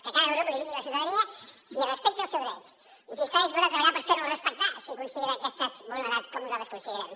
que cada grup li digui a la ciutadania si respecta el seu dret i si està disposat a treballar per fer lo respectar si considera que ha estat vulnerat com nosaltres considerem